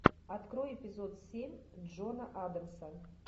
открой эпизод семь джона адамса